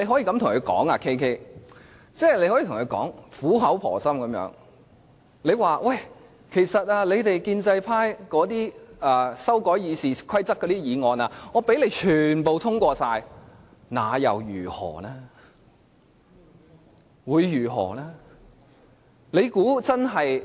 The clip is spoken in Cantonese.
但是 ，KK， 你可以苦口婆心地跟他們說："建制派修改《議事規則》的議案，即使全部通過，那又如何呢？